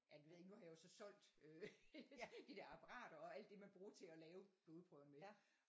Ja det ved jeg ikke nu har jeg så solgt øh de der apperater og alt det man bruger til at lave blodprøver med